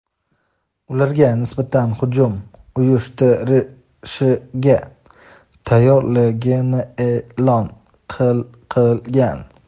ularga nisbatan hujum uyushtirishga tayyorligini e’lon qilgan.